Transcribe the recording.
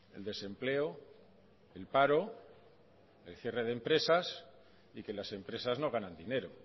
el desempleo el paro el cierre de empresas y que las empresas no ganan dinero